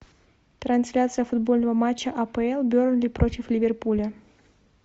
трансляция футбольного матча апл бернли против ливерпуля